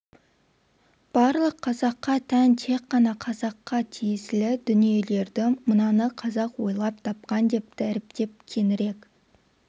барлық қазаққа тән тек қана қазаққа тиесілі дүниелерді мынаны қазақ ойлап тапқан деп дәріптеп кеңірек